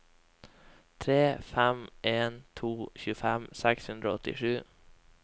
tre fem en to tjuefem seks hundre og åttisju